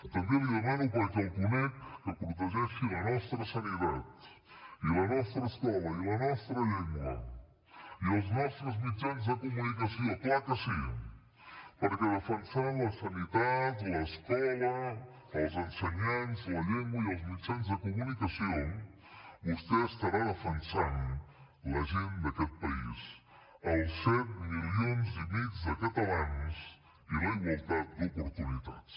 també li demano perquè el conec que protegeixi la nostra sanitat i la nostra escola i la nostra llengua i els nostres mitjans de comunicació clar que sí perquè defensant la sanitat l’escola els ensenyants la llengua i els mitjans de comunicació vostè estarà defensant la gent d’aquest país els set milions i mig de catalans i la igualtat d’oportunitats